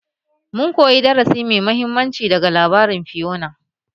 Mun koyi darasi mai mahimmanci daga labarin Fiyona